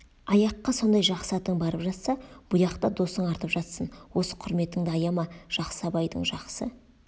аяққа сондай жақсы атың барып жатса бұяқта досың артып жатсын осы құрметіңді аяма жақсы абайдың жақсы